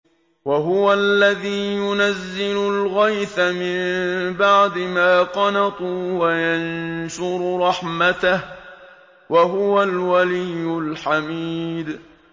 وَهُوَ الَّذِي يُنَزِّلُ الْغَيْثَ مِن بَعْدِ مَا قَنَطُوا وَيَنشُرُ رَحْمَتَهُ ۚ وَهُوَ الْوَلِيُّ الْحَمِيدُ